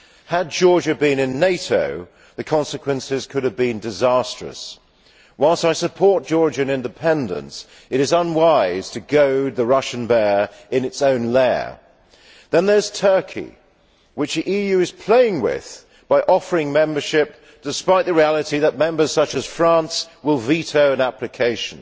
Had Georgia been in NATO, the consequences could have been disastrous. Whilst I support Georgian independence, it is unwise to goad the Russian bear in its own lair. Then there is Turkey which the EU is playing with by offering membership despite the reality that members such as France will veto an application.